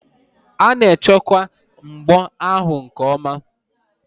A na-echekwa mbọ ahụ nke ọma.